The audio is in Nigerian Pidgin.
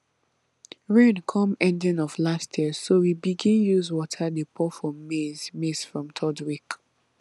rain come ending of last year so we begin use water dey pour for maize maize from third week